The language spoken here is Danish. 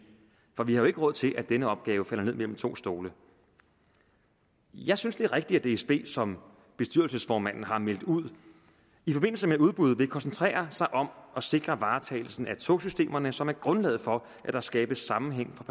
for vi har jo ikke råd til at denne opgave falder ned mellem to stole jeg synes det er rigtigt at dsb som bestyrelsesformanden har meldt ud i forbindelse med udbud vil koncentrere sig om at sikre varetagelsen af togsystemerne som er grundlaget for at der skabes sammenhæng for